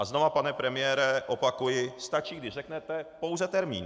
A znova, pane premiére opakuji, stačí, když řeknete pouze termín.